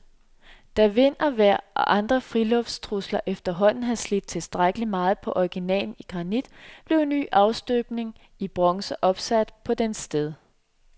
Da vind, vejr og andre friluftstrusler efterhånden havde slidt tilstrækkelig meget på originalen i granit, blev en ny afstøbning af bronze opsat i dens sted.